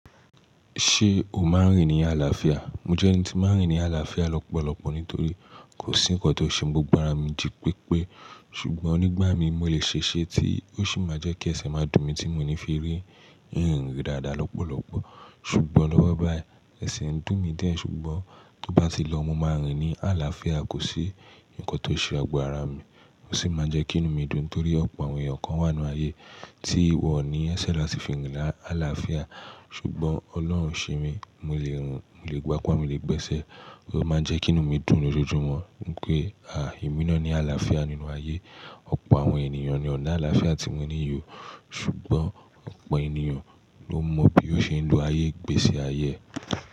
Ṣé o máa ń rìn ní àlàáfíà? Mo jẹ́ ẹni tí ń máa ń rìn ní àlàáfíà lọ́pọ̀lọpọ̀ nítorí kò sí nǹkan tó ṣe mi gbogbo ara mi jí pépé. Ṣùgbọ́n nígbá mí mi mo lè ṣe ṣẹ́ tí ó sì máa jẹ́ kí ẹsẹ̀ máa dùn mi tí mo ní fi rì irin rin dáadáa lọ́pọ̀lọpọ̀. Ṣùgbọ́n lọ́wọ́ báyìí ẹsẹ̀ ń dùn mi diẹ̀ ṣùgbọ́n to bá ti lọ mo máa rìn ní àlàáfíà. Kò sí nǹkan tó ṣe ago ara mi ò sì máa n jẹ́ kí inú mi dùn torí ọ̀pọ̀ àwọn èèyàn kan wà nínú ayé tí wọ́n ní ẹsẹ̀ láti fi rìn ní àlàáfíà. Ṣùgbọ́n Ọlọ́run ṣe mí, mo lè rìn, mo lè gbápa, mo lè gbẹ́sẹ̀, ó máa n jẹ́ kí inú mi dùn lójoojúmọ́. Ní pé, emí ná ni àlàáfíà nínú ayé, ọ̀pọ̀ àwọn ènìyàn ní o n'àlàáfíà tí mo ní yii o. Ṣùgbọ́n ọ̀pọ̀ ènìyàn ló mọ bí ó ṣe ń lo ayé igbésí ayé.